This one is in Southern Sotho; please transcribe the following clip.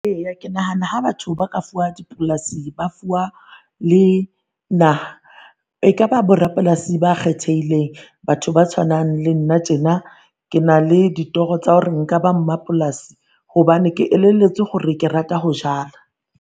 Eya ke nahana ha batho ba fuwa dipolase, ba fuwa le naha, e ka ba borapolasi ba kgethehileng. Batho ba tshwanang le nna tjena ke na le ditoro tsa hore nka ba mmapolasi hobane ke elelletswe hore ke rata ho jala.